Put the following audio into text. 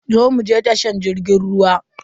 Zo muje tashar jirgin ruwa.